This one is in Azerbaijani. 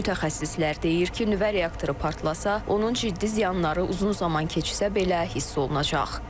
Mütəxəssislər deyir ki, nüvə reaktoru partlasa, onun ciddi ziyanları uzun zaman keçsə belə hiss olunacaq.